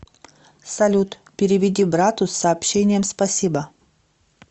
салют переведи брату с сообщением спасибо